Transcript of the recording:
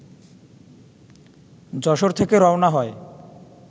যশোর থেকে রওয়ানা হয়